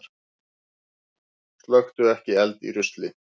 Slökktu ekki eld í rusli